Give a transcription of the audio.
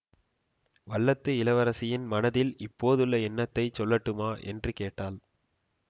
வல்லத்து இளவரசின் மனத்தில் இப்போதுள்ள எண்ணத்தைச் சொல்லட்டுமா என்று கேட்டாள்